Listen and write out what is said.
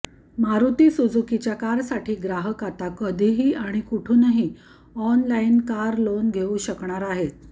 मारुती सुझुकीच्या कारसाठी ग्राहक आता कधीही आणि कुठुनही ऑनलाइन कार लोन घेऊ शकणार आहेत